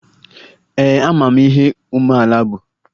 Ee, amara m ihe umeala bụ